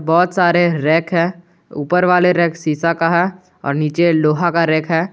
बहुत सारे रैक है ऊपर वाला रैक सीसा का है और नीचे लोहा का रैक है।